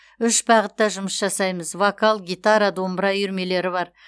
үш бағытта жұмыс жасаймыз вокал гитара домбыра үйірмелері бар